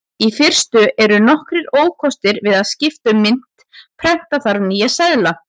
Í fyrstu eru nokkrir ókostir við að skipta um mynt: Prenta þarf nýja seðla.